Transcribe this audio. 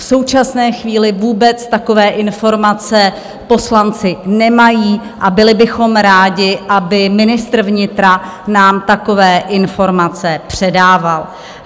V současné chvíli vůbec takové informace poslanci nemají a byli bychom rádi, aby ministr vnitra nám takové informace předával.